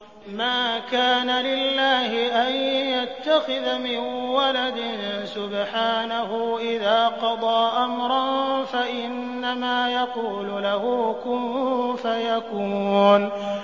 مَا كَانَ لِلَّهِ أَن يَتَّخِذَ مِن وَلَدٍ ۖ سُبْحَانَهُ ۚ إِذَا قَضَىٰ أَمْرًا فَإِنَّمَا يَقُولُ لَهُ كُن فَيَكُونُ